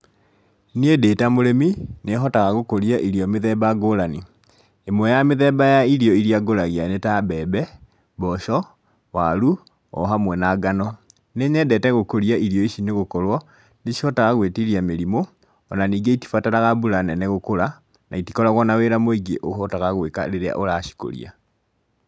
Niĩ ndĩ ta mũrĩmi, nĩhotaga gũkũria irio mĩthemba ngũrani. Ĩmwe ya mĩthemba ya irio iria ngũragia nĩ ta mbembe, mboco, waru o hamwe na ngano. Nĩ nyendete gũkũria irio ici nĩgũkorwo nĩ cihotaga gũĩtiria mĩrimũ ona ningĩ itibataraga mbura nene gũkũra na itikoragwo na wira mũingĩ ũhotaga gwĩka rĩrĩa ũracikũria.